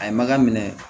A ye maga minɛ